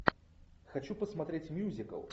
хочу посмотреть мюзикл